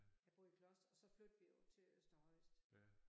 Jeg boede i Kloster og så flyttede vi jo til Øster Højst